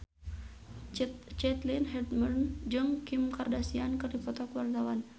Caitlin Halderman jeung Kim Kardashian keur dipoto ku wartawan